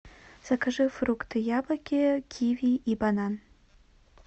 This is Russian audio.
закажи фрукты яблоки киви и банан